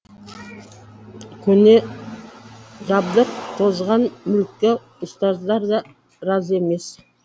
көне жабдық тозған мүлікке ұстаздар да разы емес